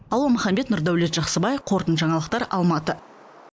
алуа маханбет нұрдәулет жақсыбай қорытынды жаңалықтар алматы